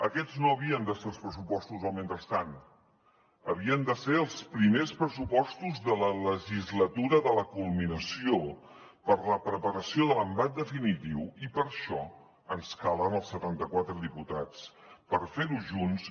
aquests no havien de ser els pressupostos del mentrestant havien de ser els primers pressupostos de la legislatura de la culminació per a la preparació de l’embat definitiu i per això ens calen els setanta quatre diputats per fer ho junts